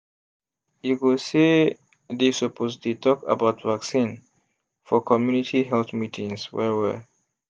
e go say dey suppose dey talk about vaccine for community health meetings well well.